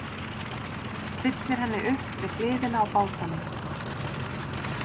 Stillir henni upp við hliðina á bátunum.